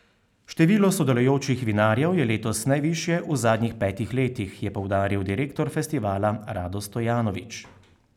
Število sodelujočih vinarjev je letos najvišje v zadnjih petih letih, je poudaril direktor festivala Rado Stojanovič.